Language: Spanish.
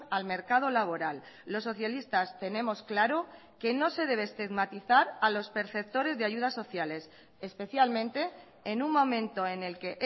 al mercado laboral los socialistas tenemos claro que no se debe estigmatizar a los perceptores de ayudas sociales especialmente en un momento en el que